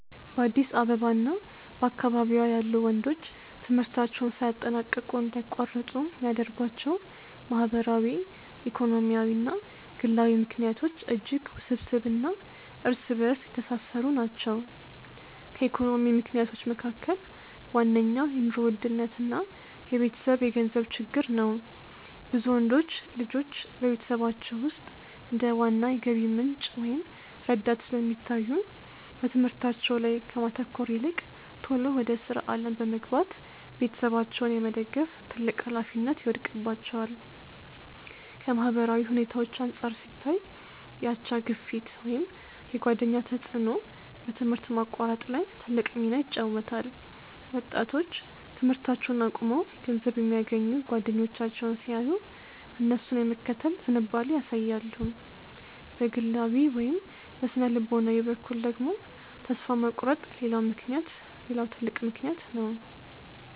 በአዲስ አበባ እና በአካባቢዋ ያሉ ወንዶች ትምህርታቸውን ሳያጠናቅቁ እንዲያቋርጡ የሚያደርጓቸው ማህበራዊ፣ ኢኮኖሚያዊ እና ግላዊ ምክንያቶች እጅግ ውስብስብ እና እርስ በእርስ የተሳሰሩ ናቸው። ከኢኮኖሚ ምክንያቶች መካከል ዋነኛው የኑሮ ውድነት እና የቤተሰብ የገንዘብ ችግር ነው። ብዙ ወንዶች ልጆች በቤተሰቦቻቸው ውስጥ እንደ ዋና የገቢ ምንጭ ወይም ረዳት ስለሚታዩ፣ በትምህርታቸው ላይ ከማተኮር ይልቅ ቶሎ ወደ ሥራ ዓለም በመግባት ቤተሰባቸውን የመደገፍ ትልቅ ኃላፊነት ይወድቅባቸዋል። ከማህበራዊ ሁኔታዎች አንጻር ሲታይ፣ የአቻ ግፊት ወይም የጓደኛ ተጽዕኖ በትምህርት ማቋረጥ ላይ ትልቅ ሚና ይጫወታል። ወጣቶች ትምህርታቸውን አቁመው ገንዘብ የሚያገኙ ጓደኞቻቸውን ሲያዩ፣ እነሱን የመከተል ዝንባሌ ያሳያሉ። በግላዊ ወይም በሥነ-ልቦና በኩል ደግሞ፣ ተስፋ መቁረጥ ሌላው ትልቅ ምክንያት ነው።